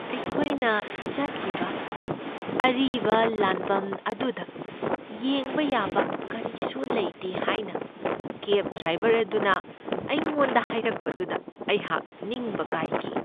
ꯑꯩꯈꯣꯏꯅ ꯆꯠꯂꯤꯕ ꯑꯔꯤꯕ ꯂꯥꯟꯕꯟ ꯑꯗꯨꯗ ꯌꯦꯡꯕ ꯌꯥꯕ ꯀꯔꯤꯁꯨ ꯂꯩꯇꯦ ꯍꯥꯏꯅ ꯀꯦꯕ ꯗ꯭ꯔꯥꯏꯕꯔ ꯑꯗꯨꯅ ꯑꯩꯉꯣꯟꯗ ꯍꯥꯏꯔꯛꯄꯗꯨꯗ ꯑꯩꯍꯥꯛ ꯅꯤꯡꯕ ꯀꯥꯏꯈꯤ ꯫